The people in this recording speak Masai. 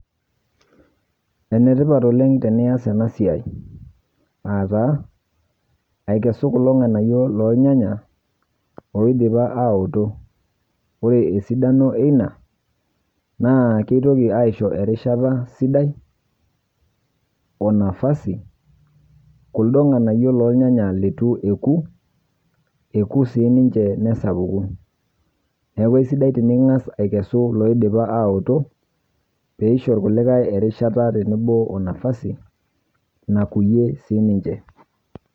Enetipat oleng' tenias ena siai. Aataa aikesu kulo ng'anayio loolnyanya oidipa aoto. Ore esidano eina naaakeitoki aisho erishata sidai onafasi kuldo ng'anayio lolnyanya ketu eeku, eeku siininche nesapuku neaku sidai tining'as aikesu loidipa aawoto peeisho ilkulikae erishata tenebo onafasi naokuyie siininche.